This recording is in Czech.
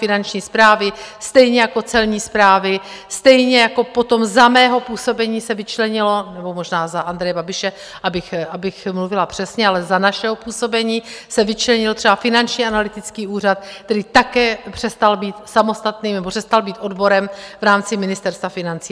Finanční správy, stejně jako Celní správy, stejně jako potom za mého působení se vyčlenilo, nebo možná za Andreje Babiše, abych mluvila přesně, ale za našeho působení se vyčlenil třeba Finanční analytický úřad, který také přestal být samostatným, nebo přestal být odborem v rámci Ministerstva financí.